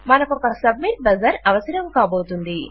మనకు ఒక submit buzzer అవసరం కాబోతోంది